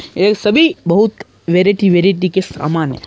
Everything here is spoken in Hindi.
ये सभी बहुत वेरिटी-वेरिटी के समान है।